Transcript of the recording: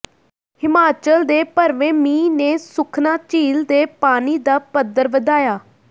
ਹਿਮਾਚਲ ਦੇ ਭਰਵੇਂ ਮੀਂਹ ਨੇ ਸੁਖਨਾ ਝੀਲ ਦੇ ਪਾਣੀ ਦਾ ਪੱਧਰ ਵਧਾਇਆ